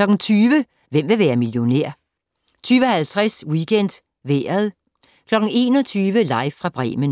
20:00: Hvem vil være millionær? 20:50: WeekendVejret 21:00: Live fra Bremen